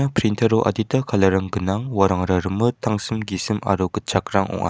printer-o adita colour-rang gnang uarangara rimit tangsim gisim aro gitchakrang ong·a.